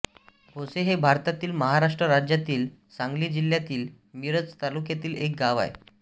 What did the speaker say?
भोसे हे भारतातील महाराष्ट्र राज्यातील सांगली जिल्ह्यातील मिरज तालुक्यातील एक गाव आहे